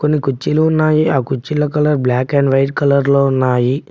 కొన్ని కుర్చీలు ఉన్నాయి ఆ కుర్చీలా colour black and white colour లో ఉన్నాయి.